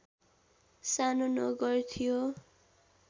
सानो नगर थियो